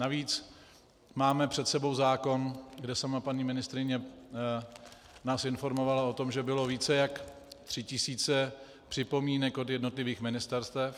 Navíc máme před sebou zákon, kde sama paní ministryně nás informovala o tom, že bylo více jak tři tisíce připomínek od jednotlivých ministerstev.